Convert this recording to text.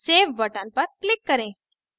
save button पर click करें